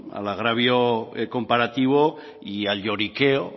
al agravio comparativo y al lloriqueo